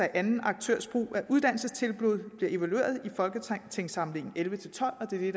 anden aktørs brug af uddannelsestilbud bliver evalueret i folketingssamlingen elleve til tolv og det er